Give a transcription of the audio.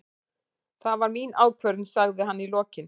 Það var mín ákvörðun, sagði hann í lokin.